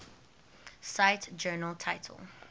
cite journal title